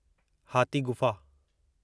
हाथी गुफ़ा